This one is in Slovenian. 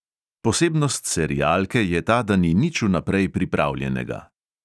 Posebnost serialke je ta, da ni nič vnaprej pripravljenega.